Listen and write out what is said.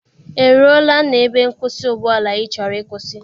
E ruola na ebe nkwụsị ụgbọala ị chọrọ ịkwụsị?